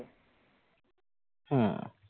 হম